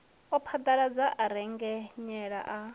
a phaḓaladza a rengenyela a